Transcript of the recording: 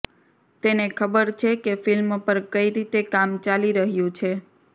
તેને ખબર છે કે ફિલ્મ પર કઈ રીતે કામ ચાલી રહ્યું છે